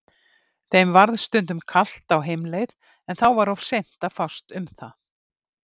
Þeim varð stundum kalt á heimleið en þá var of seint að fást um það.